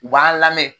U b'an lamɛn